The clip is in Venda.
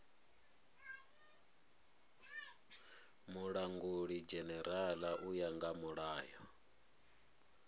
mulangulidzhenerala u ya nga mulayo